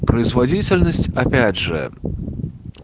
производительность опять же